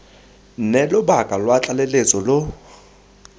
nne lobaka lwa tlaleletso lo